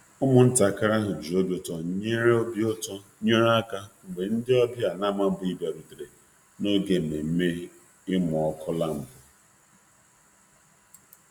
Ụmụntakịrị ahụ ji obi ụtọ nyere aka mgbe ndị ọbịa na-amabughị bịarutere n'oge nmenme imu ọkụ lampụ